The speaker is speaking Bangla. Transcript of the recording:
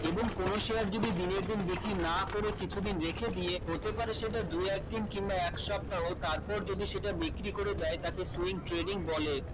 এবং কোন share যদি দিনের দিন দেখি না করে কিছুদিন দেখে রেখে দিয়ে হতে পারে সেটা দুই এক দিন কিংবা এক সপ্তাহ তারপর যদি সেটা বিক্রি করে দেয় তাকে same trading বলে